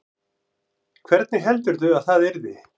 Hvernig heldurðu að það yrði?